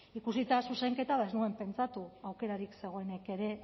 ikusita zuzenketa ba ez nuen pentsatu aukerarik zegoenik ere